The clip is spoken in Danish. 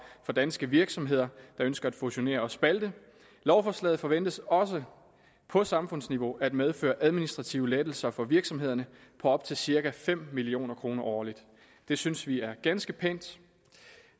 for danske virksomheder der ønsker at fusionere og spalte lovforslaget forventes også på samfundsniveau at medføre administrative lettelser for virksomhederne på op til cirka fem million kroner årligt det synes vi er ganske pænt